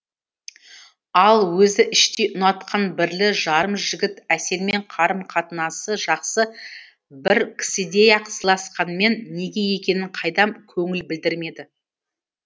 ал өзі іштей ұнатқан бірлі жарым жігіт әселмен қарым қатынысы жақсы бір кісідей ақ сыйласқанымен неге екенін қайдам көңіл білдірмеді